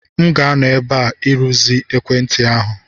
M ga-anọ ebe a irụzi ekwentị ahu.